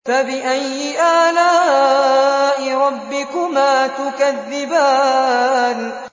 فَبِأَيِّ آلَاءِ رَبِّكُمَا تُكَذِّبَانِ